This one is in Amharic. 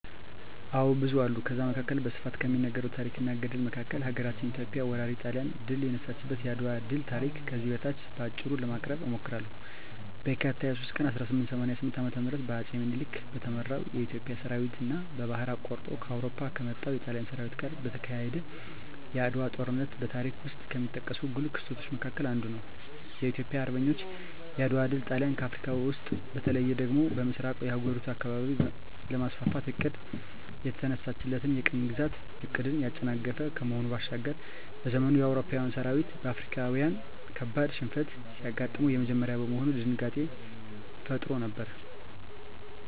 አዎ ብዙ አሉ ከዛ መካከል በስፋት ከሚነገረው ታረክ እና ገድል መካከል ሀገራችን ኢትዮጵያ ወራሪ ጣሊያንን ድል የነሳችበት የአድዋ ድል ታሪክ ከዚህ በታች በአጭሩ ለማቅረብ እሞክራለሁ፦ በካቲት 23 ቀን 1888 ዓ.ም በአጼ ምኒልክ በተመራው የኢትዮጵያ ሠራዊትና ባህር አቋርጦ ከአውሮፓ ከመጣው የጣሊያን ሠራዊት ጋር የተካሄደው የዓድዋው ጦርነት በታሪክ ውስጥ ከሚጠቀሱ ጉልህ ክስተቶች መካከል አንዱ ነው። የኢትዮጵያ አርበኞች የዓድዋ ድል ጣሊያን አፍረካ ውስጥ በተለይ ደግሞ በምሥራቁ የአህጉሪቱ አካባቢ ለማስፋፋት አቅዳ የተነሳችለትን የቅኝ ግዛት ዕቅድን ያጨናገፈ ከመሆኑ ባሻገር፤ በዘመኑ የአውሮፓዊያን ሠራዊት በአፍሪካዊያን ካበድ ሽንፈት ሲገጥመው የመጀመሪያ በመሆኑ ድንጋጤንም ፈጥሮ ነበር።